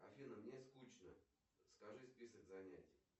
афина мне скучно скажи список занятий